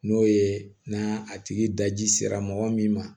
N'o ye n'a a tigi daji sera mɔgɔ min ma